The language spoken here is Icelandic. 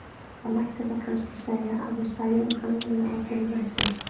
Það mætti þá kannski segja að við sæjum hann með óbeinum hætti.